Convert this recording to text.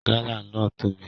Gala náà tóbi.